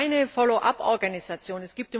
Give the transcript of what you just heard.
Es gibt keine Follow up Organisation.